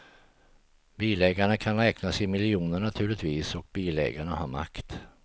Bilägarna kan räknas i miljoner, naturligtvis, och bilägarna har makt.